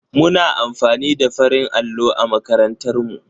Muna amfani da farin allo a makarantar mu.